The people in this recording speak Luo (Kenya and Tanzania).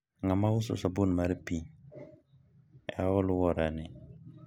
ng'a ma uso sabun mar pi e alwora ni?